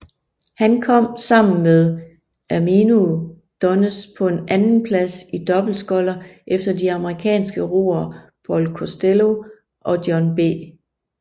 Han kom sammen med Erminio Dones på en andenplads i dobbeltsculler efter de amerikanske roer Paul Costello og John B